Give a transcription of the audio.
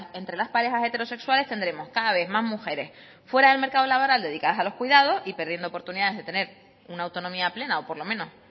entre las parejas heterosexuales tendremos cada vez más mujeres fuera del mercado laboral dedicadas a los cuidados y perdiendo oportunidades de tener una autonomía plena o por lo menos